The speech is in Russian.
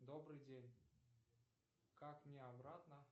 добрый день как мне обратно